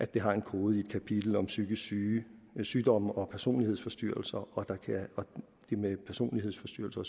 den har en kode i et kapitel om psykiske sygdomme og personlighedsforstyrrelser og det med personlighedsforstyrrelser